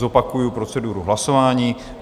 Zopakuji proceduru hlasování.